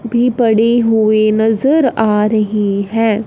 भी पड़ी हुई नजर आ रही है।